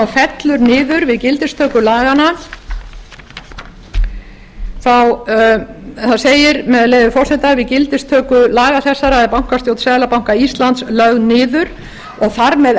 fellur niður við gildistöku laganna þá segir með leyfi forseta við gildistöku laga þessara er bankastjórn seðlabanka íslands lögð niður og þar með